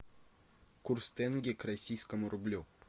курс тенге к российскому рублю